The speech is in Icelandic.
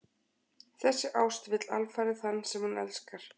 Þessi ást vill alfarið þann sem hún elskar.